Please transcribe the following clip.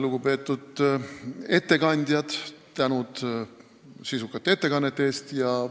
Lugupeetud ettekandjad, tänu sisukate ettekannete eest!